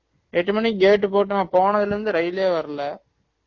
எட்டு மணிக்கு gate போட்டவன் போனதுல இருந்து ரயிலே வரல